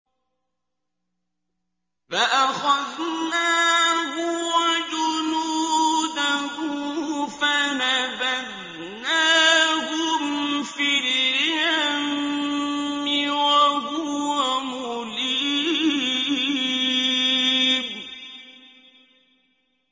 فَأَخَذْنَاهُ وَجُنُودَهُ فَنَبَذْنَاهُمْ فِي الْيَمِّ وَهُوَ مُلِيمٌ